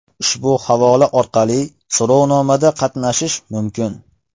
Ushbu havola orqali so‘rovnomada qatnashish mumkin.